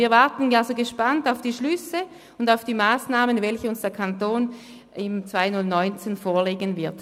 Wir warten also gespannt auf die Schlüsse und die Massnahmen, die der Kanton uns im Jahr 2019 vorlegen wird.